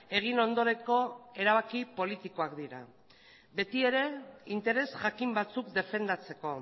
egin ondoreko erabaki politikoak dira beti ere interes jakin batzuk defendatzeko